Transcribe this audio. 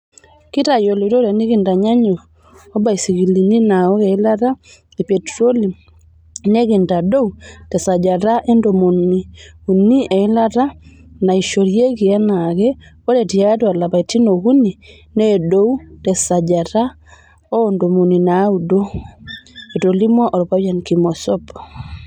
"Kitayoloito tenekitanyanyuk obasikilini naaok eilate e petroli, nekintadou tesajata e ntomoni unii eilata naasishoreki enaake oree tiatu lapaitin okunii needou tesajata oontomoni naaudo." Etolimuo olpayian Kimosop.